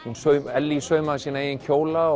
Ellý saumaði sína eigin kjóla